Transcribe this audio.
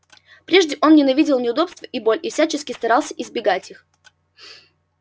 прежде он ненавидел неудобства и боль и всячески старался избегать их